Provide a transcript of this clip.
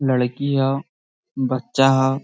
लड़की ह बच्चा है |